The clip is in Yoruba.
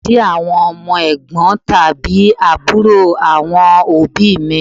Cousin túmọ̀ sí àwọn ọmọ Ẹ̀gbọ́n tàbí àbúrò àwọn òbíì mi.